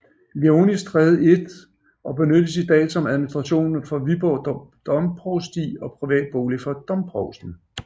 Leonis Stræde 1 og benyttes i dag som administration for Viborg Domprovsti og privat bolig for domprovsten